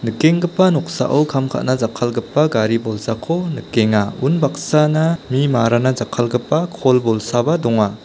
nikenggipa noksao kam ka·na jakkalgipa gari bolsako nikenga unbaksana mi marana jakkalgipa kol bolsaba donga.